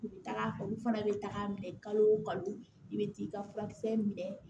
U bɛ taga u fana bɛ taga minɛ kalo o kalo i bɛ t'i ka furakisɛ minɛ